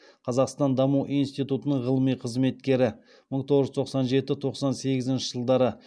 қазақстан даму институтының ғылыми қызметкері